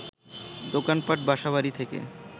দোকানপাট, বাসা-বাড়ি থেকে